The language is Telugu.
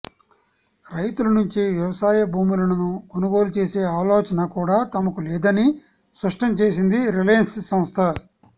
రైతుల నుంచి వ్యవసాయ భూములను కొనుగోలు చేసే ఆలోచన కూడా తమకు లేదని స్పష్టం చేసింది రిలయన్స్ సంస్థ